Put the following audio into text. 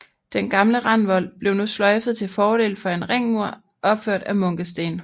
Den gamle randvold blev nu sløjfet til fordel for en ringmur opført af munkesten